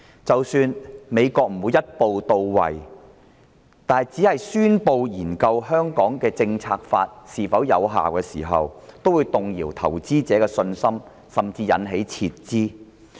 即使美國不會一步到位，而只宣布會研究《香港政策法》是否仍然有效，也會動搖投資者的信心，甚至引發撤資。